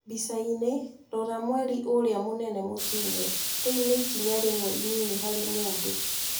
mbicainĩ: Rora Mweri ũrĩa mũnene mũtune. "Rĩu nĩ ikinya rĩmwe inini harĩ mũndũ",